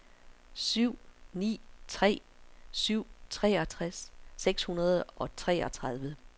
syv ni tre syv treogtres seks hundrede og treogtredive